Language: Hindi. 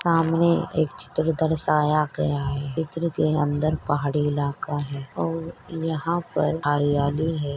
सामने एक चित्र दर्शाया गया है चित्र के अंदर पहाड़ी इलाका है और यहा पर हरियाली है।